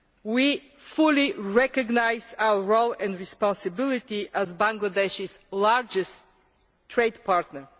We fully recognise our role and responsibility as Bangladesh's largest trade partner.